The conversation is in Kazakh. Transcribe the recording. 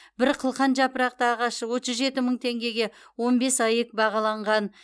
бір қылқан жапырақты ағаш отыз жеті мың теңгеге он бес аек бағаланған